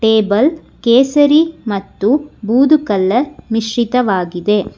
Able ಕೇಸರಿ ಮತ್ತು ಬುಡು ಕಲರ್ ಮಿಸ್ಶಿತವಾಗಿದೆ.